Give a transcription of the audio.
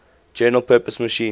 general purpose machine